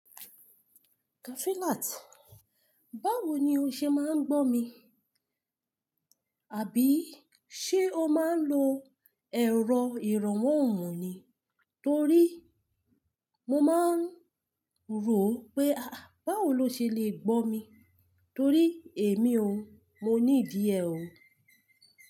Kafilat, báwo ni o ṣe máa ń gbọ́ mi? Àbí ṣé o máa ń lo ẹ̀rọ ìrànwọ́ òrùn ni? Torí mo máa ń rò pé, ah, báwo lo ṣe lè gbọ́ mi? Torí èmi o, mo níìdì ẹ̀ o.